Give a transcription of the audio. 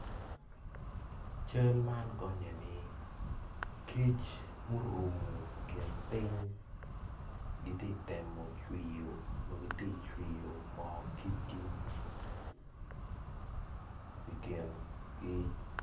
Cal man gonye ni, kic murumo kin ping gitye temo cwiyo magitye cwiyo mor kicgi, ikin gi.